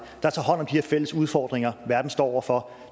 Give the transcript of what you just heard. der tager hånd om her fælles udfordringer verden står over for